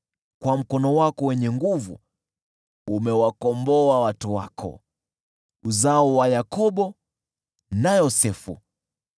Kwa mkono wako wenye nguvu umewakomboa watu wako, uzao wa Yakobo na Yosefu.